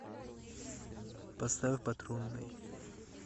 поставь патрульный